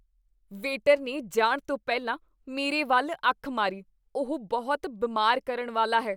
Waiter ਨੇ ਜਾਣ ਤੋਂ ਪਹਿਲਾਂ ਮੇਰੇ ਵੱਲ ਅੱਖ ਮਾਰੀ। ਉਹ ਬਹੁਤ ਬਿਮਾਰ ਕਰਨ ਵਾਲਾ ਹੈ।